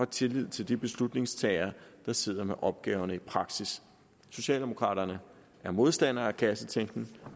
tillid til de beslutningstagere der sidder med opgaverne i praksis socialdemokraterne er modstandere af kassetænkning